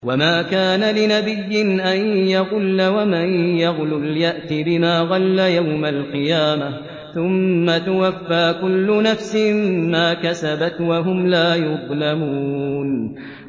وَمَا كَانَ لِنَبِيٍّ أَن يَغُلَّ ۚ وَمَن يَغْلُلْ يَأْتِ بِمَا غَلَّ يَوْمَ الْقِيَامَةِ ۚ ثُمَّ تُوَفَّىٰ كُلُّ نَفْسٍ مَّا كَسَبَتْ وَهُمْ لَا يُظْلَمُونَ